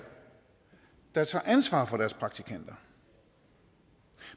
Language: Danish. der tager ansvar for deres praktikanter